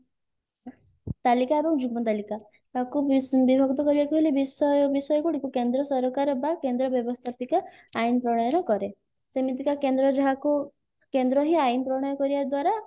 ତାଲିକା ଏବଂ ଯୁଗ୍ମ ତାଲିକା ତାକୁ ବିସ ବିଭକ୍ତ କରିବାକୁ ହେଲେ ବିଷୟ ବିଷୟ ଗୁଡିକୁ କେନ୍ଦ୍ର ସରକାର ବା କେନ୍ଦ୍ର ବ୍ୟବସ୍ତାପିକା ଆଇନ ପ୍ରଣାଳୀରେ କରେ ସେମିତିକା କେନ୍ଦ୍ର ଯାହାକୁ କେନ୍ଦ୍ର ହିଁ ଆଇନ ପ୍ରଣୟ କରିବା ଦ୍ଵାରା